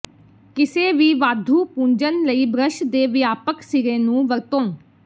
ਕਿਸੇ ਵੀ ਵਾਧੂ ਪੂੰਝਣ ਲਈ ਬ੍ਰਸ਼ ਦੇ ਵਿਆਪਕ ਸਿਰੇ ਨੂੰ ਵਰਤੋਂ